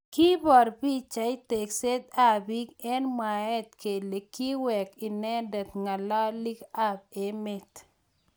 Kibor pichait takset ab bik eng mwaet kele kiwek inendet ngalalik ab emet.